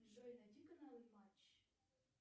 джой найди каналы матч